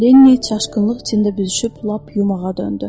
Lenni çaşqınlıq içində büzüşüb lap yumağa döndü.